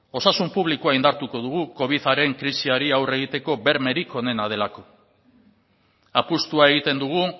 osasun publikoa indartuko dugu covidaren krisiari aurre egiteko bermerik onena delako apustua egiten dugu